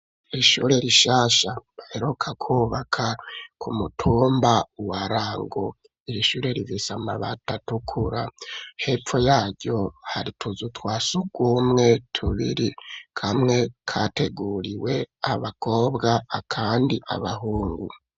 Ishure rishasha baheruka kwubaka ku mutumba wa Rango. Iri shure rifise amabati atukura, hepfo yaryo hari utuzu twa surwumwe tubiri, kamwe kateguriwe abakobwa, akandi abahungu.